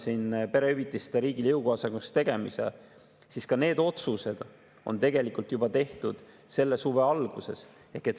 Ja näiteks perehüvitiste riigile jõukohasemaks tegemise otsus on tegelikult tehtud juba selle suve alguses.